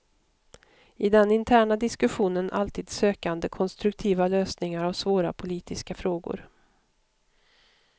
I den interna diskussionen alltid sökande konstruktiva lösningar av svåra politiska frågor.